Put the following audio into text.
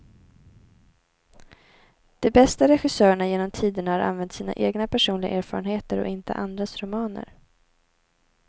De bästa regissörerna genom tiderna har använt sina egna personliga erfarenheter och inte andras romaner.